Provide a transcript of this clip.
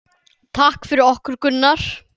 Takk fyrir okkur, Gunnar.